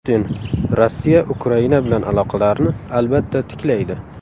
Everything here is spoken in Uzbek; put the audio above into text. Putin: Rossiya Ukraina bilan aloqalarni albatta tiklaydi.